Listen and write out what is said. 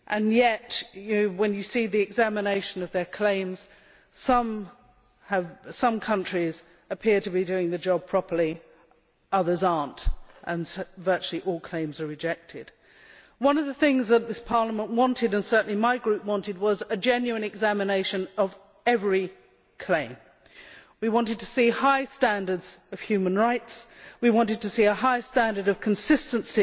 Yet when you see the examination of their claims, some countries appear to be doing the job properly, others are not and virtually all claims are being rejected. One of the things that this Parliament, and certainly my Group, wanted was the genuine examination of every claim. We wanted to see high standards of human rights, we wanted to see a higher standard of consistency